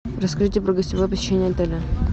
расскажите про гостевое посещение отеля